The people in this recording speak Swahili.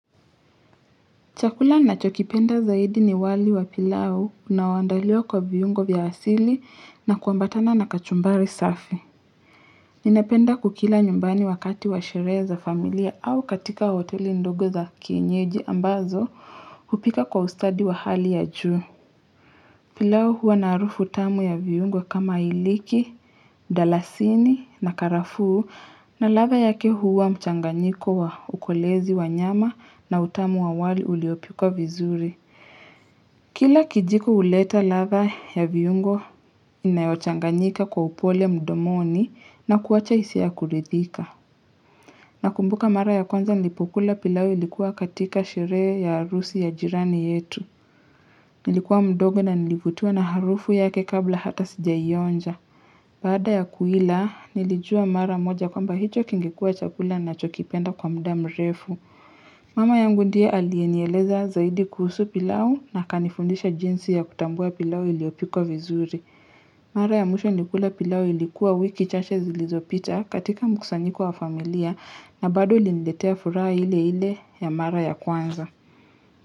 Chakula ninachokipenda zaidi ni wali wa pilau unaoandaliwa kwa viungo vya asili na kuambatana na kachumbari safi. Ninapenda kukila nyumbani wakati wa sherehe za familia au katika hoteli ndogo za kienyeji ambazo hupika kwa ustadi wa hali ya juu. Pilau huwa na harufu tamu ya viungo kama iliki, dalasini na karafuu na ladha yake huwa mchanganyiko wa ukolezi wa nyama na utamu wa wali uliopikwa vizuri. Kila kijiko huleta ladha ya viungo inayochanganyika kwa upole mdomoni na kuacha hisia ya kuridhika. Nakumbuka mara ya kwanza nilipokula pilau ilikuwa katika sherehe ya harusi ya jirani yetu. Nilikuwa mdogo na nilivutiwa na harufu yake kabla hata sijaionja. Baada ya kuila nilijua mara moja kwamba hicho kingekuwa chakula ninachokipenda kwa muda mrefu. Mama yangu ndiye aliyenieleza zaidi kuhusu pilau na akanifundisha jinsi ya kutambua pilau iliopikwa vizuri. Mara ya mwisho nikula pilau ilikuwa wiki chache zilizopita katika mkusanyiko wa familia na bado iliniletea furaha ile ile ya mara ya kwanza.